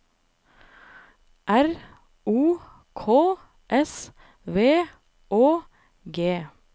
R O K S V Å G